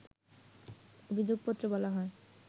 অভিযোগপত্রে বলা হয়